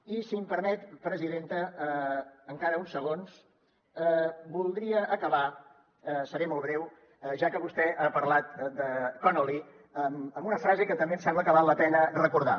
i si em permet presidenta encara uns segons voldria acabar seré molt breu ja que vostè ha parlat de connolly amb una frase que també em sembla que val la pena recordar